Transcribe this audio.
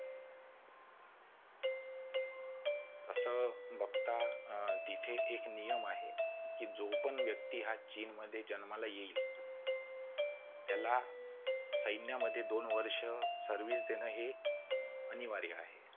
असं बघता तिथे एक नियम आहे कि जो पण व्यक्ती हा चीनमध्ये जन्माला येईल त्याला सैन्यामध्ये दोन वर्ष service देणे अनिवार्य आहे.